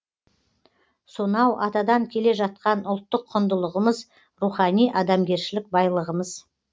сонау атадан келе жатқан ұлттық құндылығымыз рухани адамгершілік байлығымыз